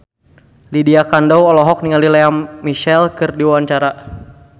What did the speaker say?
Lydia Kandou olohok ningali Lea Michele keur diwawancara